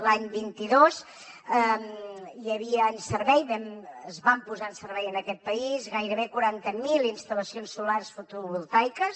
l’any vint dos hi havia en servei es van posar en servei en aquest país gairebé quaranta mil instal·lacions solars fotovoltaiques